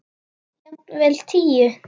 Jafnvel tíu.